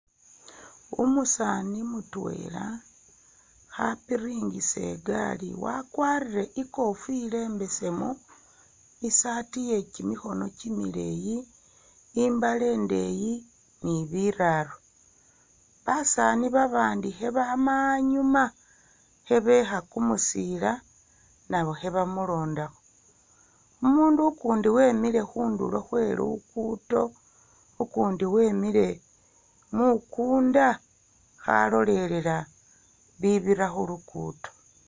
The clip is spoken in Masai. Umusaani mutweela khapiringisa igaali ne wakwarire ikofila imbeseemu isaati iye kimikhono kimileeyi, imbaale indeeyi ne bilalo, basaani babandi khabaama inyuma khebeekha kumusiila nabo kheba mulondakho, umundu ukundi wemile khundulo khwe luguudo, ukundi we wemiile mukunda khalolelela ibibira khuluguudo